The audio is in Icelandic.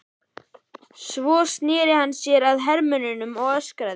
Svo sneri hann sér að hermönnunum og öskraði